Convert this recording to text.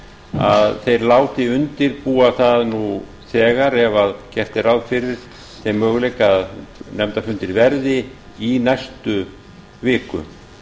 að þeir láti undirbúa það nú þegar ef gert er ráð fyrir þeim möguleika að nefndarfundir verði í næstu viku